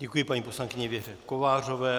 Děkuji paní poslankyni Věře Kovářové.